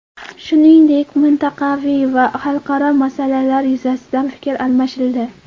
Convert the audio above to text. Shuningdek, mintaqaviy va xalqaro masalalar yuzasidan fikr almashildi.